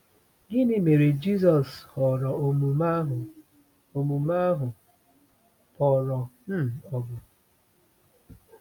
Gịnị mere Jisọs họrọ omume ahụ omume ahụ kpọrọ um ọgụ?